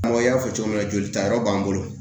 Ɔ i y'a fɔ cogo min na jolitayɔrɔ b'an bolo